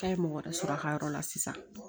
K'a ye mɔgɔ wɛrɛ sɔrɔ a ka yɔrɔ la sisan